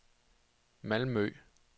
Malmø